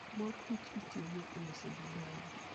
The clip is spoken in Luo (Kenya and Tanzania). Mor kich itiyogo e loso divai.